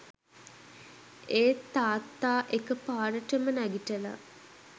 ඒත් තාත්තා එක පාරටම නැගිටලා